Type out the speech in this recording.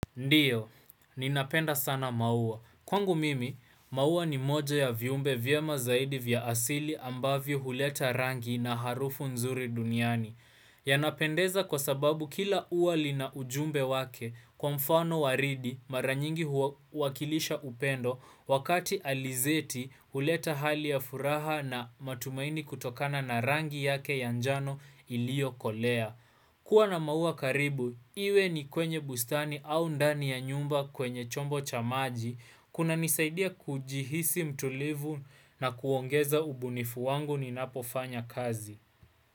Ndiyo, ninapenda sana maua. Kwangu mimi, maua ni moja ya viumbe vyema zaidi vya asili ambavyo huleta rangi na harufu nzuri duniani. Yanapendeza kwa sababu kila ua lina ujumbe wake kwa mfano waridi mara nyingi huwakilisha upendo wakati alizeti huleta hali ya furaha na matumaini kutokana na rangi yake ya njano iliyokolea. Kwa na maua karibu, iwe ni kwenye bustani au ndani ya nyumba kwenye chombo cha maji, kuna nisaidia kujihisi mtulivu na kuongeza ubunifu wangu ninapofanya kazi.